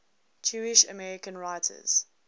jewish american writers